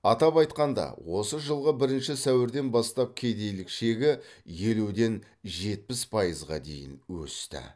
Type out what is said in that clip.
атап айтқанда осы жылғы бірінші сәуірден бастап кедейлік шегі елуден жетпіс пайызға дейін өсті